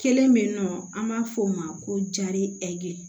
Kelen bɛ yen nɔ an b'a fɔ o ma ko jari ɛri